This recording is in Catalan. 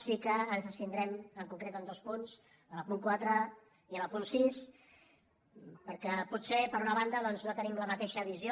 sí que ens abstindrem en concret en dos punts en el punt quatre i en el punt sis perquè potser per una banda doncs no tenim la mateixa visió